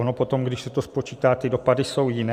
Ono potom, když se to spočítá, ty dopady jsou jiné.